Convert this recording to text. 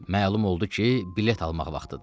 Məlum oldu ki, bilet almaq vaxtıdır.